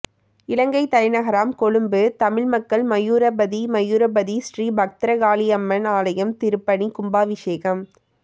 இலங்கை தலைநகராம் கொழும்பு தமிழ் மக்கள் மயூரபதி மயூரபதி ஸ்ரீ பத்திரகாளி அம்மன் ஆலயம் திருப்பணி கும்பாபிஷேகம்